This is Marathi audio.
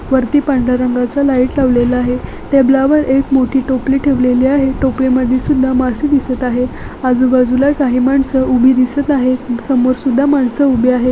वरती पांढर्‍या रंगाचा लाइट लावलेला आहे टेबला वर एक मोठी टोपली ठेवलेली आहे टोपलीमध्ये सुद्धा मासे दिसत आहे आजूबाजूला काही माणसं उभी दिसत आहेत समोर सुद्धा माणसं उभी आहेत.